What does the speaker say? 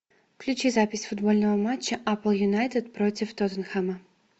включи запись футбольного матча апл юнайтед против тоттенхэма